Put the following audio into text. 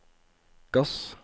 gass